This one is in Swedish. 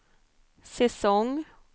säsong